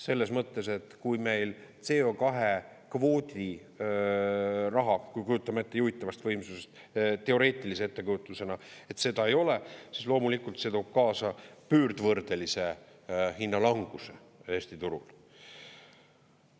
Selles mõttes, et kui meil CO2-kvoodiraha, kui kujutame ette, juhitavast võimsusest, teoreetilise ettekujutusena, et seda ei ole, siis loomulikult see toob kaasa pöördvõrdelise hinnalanguse Eesti turul.